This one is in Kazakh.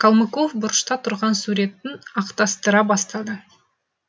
калмыков бұрышта тұрған суретін ақтастыра бастады